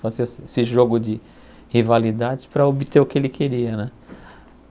Fazia esse jogo de rivalidades para obter o que ele queria, né?